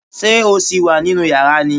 Ṣé o sì wà nínú yàrá ni?